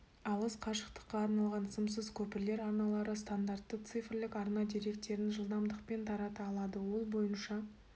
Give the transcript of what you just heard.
алыс қашықтыққа арналған сымсыз көпірлер арналары стандартты цифрлік арна деректерін жылдамдықпен тарата алады ол бойынша